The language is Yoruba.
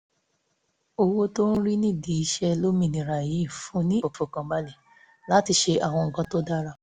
owó tí ó ń rí nídìí iṣẹ́ lómìnira yìí fún un ní ìfọkànbalẹ̀ láti ṣe àwọn nǹkan tó dára